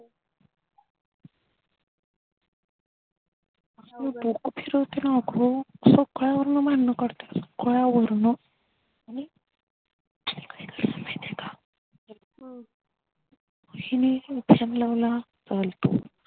येवढ डोकं फिरवते न अग सगळ्या वरण भांडण काढते सगळ्या वरण आणि काय घडलं माहितेका हिनी लावला चालतो